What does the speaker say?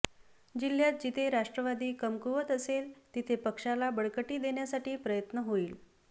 जिल्ह्यात जिथे राष्ट्रवादी कमकुवत असेल तिथे पक्षाला बळकटी देण्यासाठी प्रयत्न होईल